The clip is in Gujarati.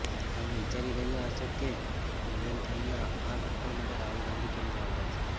તમે વિચારી રહ્યાં હશો કે બુંદેલખંડના આ ઘડપણ માટે રાહુલ ગાંધી કેમ જવાબદાર છે